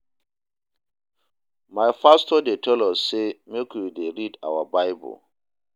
My pastor dey tell us sey make we dey read our Bible.